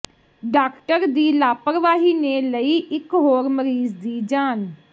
doctor ਦੀ ਲਾਪਰਵਾਹੀ ਨੇ ਲਈ ਇੱਕ ਹੋਰ ਮਰੀਜ਼ ਦੀ ਜਾਨ